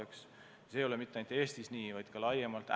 Ja see ei ole mitte ainult Eestis nii, vaid laiemalt.